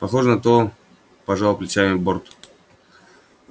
похоже на то пожал плечами борт